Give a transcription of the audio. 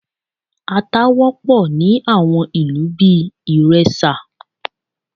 À̀ta wọ́pọ̀ ni àwọn ìlú bíi Ìrẹsà